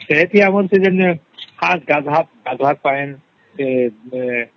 ଏଠି ଆମର ଯେମିତିଗାଧୁଆ ର ପାଇଁ ଯେ